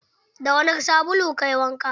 Da wani sabulu kayi wanka?